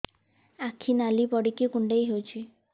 ଆଖି ନାଲି ପଡିକି କୁଣ୍ଡେଇ ହଉଛି